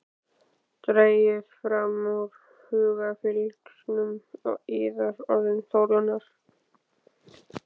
Dragið fram úr hugarfylgsnum yðar orðin Þórunnar.